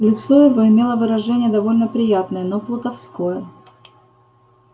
лицо его имело выражение довольно приятное но плутовское